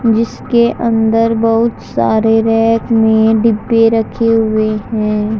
जिसके अंदर बहुत सारे रैक में डिब्बे रखे हुएं हैं।